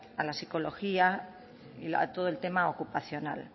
a la psicología y a todo el tema ocupacional